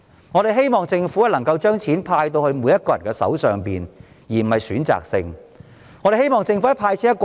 我們希望政府能夠把錢派發到每個人手上，而不是選擇性地"派錢"。